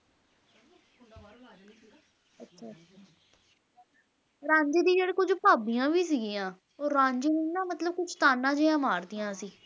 ਰਾਂਝੇ ਦੀ ਜਿਹੜੇ ਕੁਛ ਭਾਬੀਆਂ ਵੀ ਸਿਗੀਆਂ ਉਹ ਰਾਂਝੇ ਨੂੰ ਨਾ ਮਤਲਬ ਕੁਛ ਤਾਅਨੇ ਜਿਹੀਆਂ ਮਾਰਦੀਆਂ ਸੀ